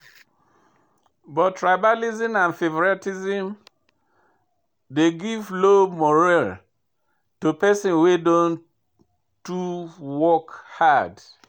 But tribalism and favouritism de give low morale to pesin wey don too work hard.